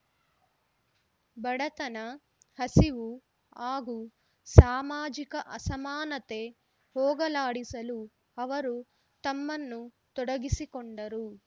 ಬಡತನ ಹಸಿವು ಹಾಗೂ ಸಾಮಾಜಿಕ ಅಸಮಾನತೆ ಹೋಗಲಾಡಿಸಲು ಅವರು ತಮ್ಮನ್ನು ತೊಡಗಿಸಿಕೊಂಡರು